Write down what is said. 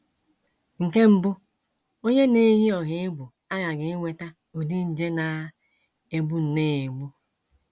Nke mbụ, onye na - eyi ọha egwu aghaghị inweta ụdị nje na - egbu nnọọ egbu.